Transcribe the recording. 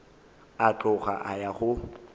a tloga a ya go